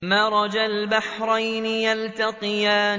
مَرَجَ الْبَحْرَيْنِ يَلْتَقِيَانِ